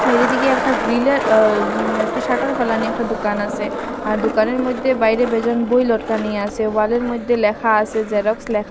সাইডের দিকে একটা গ্রিলের আ উম একটা শাটার ফেলানি একটা দোকান আসে আর দোকানের মধ্যে বাইরে বেজন বই লটকানি আসে ওয়ালের মধ্যে লেখা আছে জেরক্স লেখা।